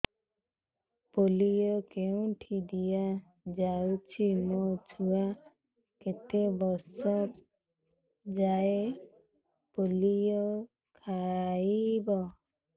polio କେଉଁଠି ଦିଆଯାଉଛି ମୋ ଛୁଆ କେତେ ବର୍ଷ ଯାଏଁ ପୋଲିଓ ଖାଇବ